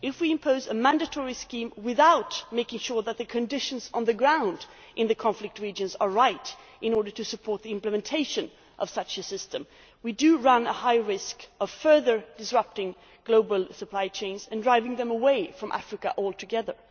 If we impose a mandatory scheme without making sure that the conditions on the ground in the conflict regions are right in order to support the implementation of such a system, we do run a high risk of further disrupting global supply chains and driving them away from Africa altogether.